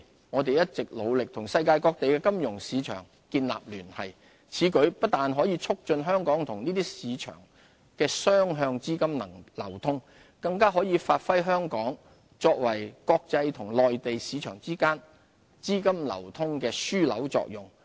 我們一直努力與世界各地的金融市場建立聯繫，此舉不但可促進香港與這些市場的雙向資金流通，更可發揮香港作為國際與內地市場之間資金流通樞紐的作用。